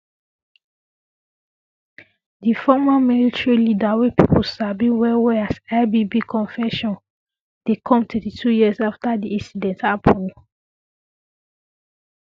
di former military leader wey pipo sabi wellwell as ibb confession dey come 32 years afta di incident um happun